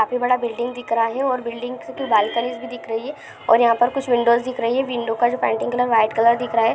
काफी बड़ा बिल्डिंग दिख रहा हैऔर बिल्डिंग से कुछ भी दिख रही है। और यहाँ पर कुछ विंडोज दिख रही है। विंडो का जो पेन्टिंग है कलर वो व्हाइट कलर दिख रहा है।